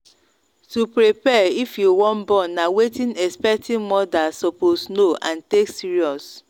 to prepare if you wan born na wetin expecting mothers suppose know and take serious.